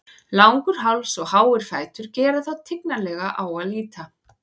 Langur háls og háir fætur gera þá tignarlega á að líta.